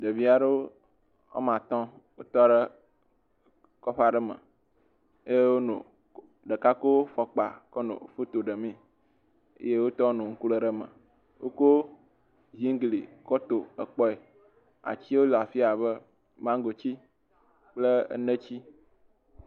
Ɖevi aɖewo wo ame atɔ̃ tɔ ɖe kɔƒe aɖe me eye ɖeka kɔ fɔkpa kɔ no foto ɖe mee eye wotɔwo nɔ ŋku lém ɖe eme. Wokɔ ziŋgli kɔ to kpɔe. Atiwo le afia abe maŋgoti, kple neti.